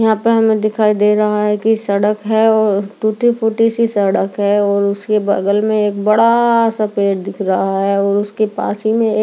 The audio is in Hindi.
यहाँ पर हमे दिखाई दे रहा है की सड़क है टूटी फूटी सी सड़क है और उसकी बग़ल में एक बड़ा सा पेड़ दिखायी दिख रहा है और उसकी पासी में एक --